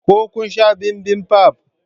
Ko kun san bibimbap?